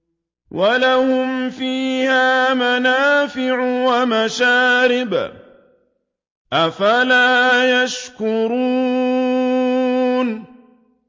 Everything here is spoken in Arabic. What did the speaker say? وَلَهُمْ فِيهَا مَنَافِعُ وَمَشَارِبُ ۖ أَفَلَا يَشْكُرُونَ